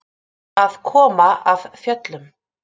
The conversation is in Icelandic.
Að koma af fjöllum